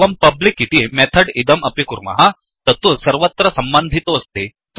एवंpublicइति method इदं अपि कुर्मः तत्तु सर्वत्र सम्बन्धितोऽस्ति